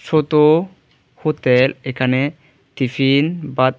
ছোতো hotel এখানে tiffin Baat--